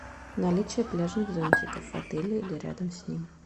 наличие пляжных зонтиков в отеле или рядом с ним